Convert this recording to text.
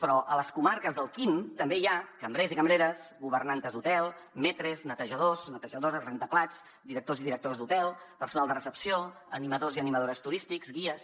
però a les comarques del quim també hi ha cambrers i cambreres governantes d’hotel maîtres netejadors netejadores rentaplats directors i directores d’hotel personal de recepció animadors i animadores turístics guies